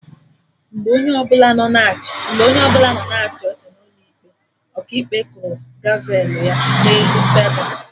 Mgbe onye ọbụla nọ na-achị ọchị n'ụlọ ikpe, Ọkaikpe kụrụ gavelụ ya na elu tebul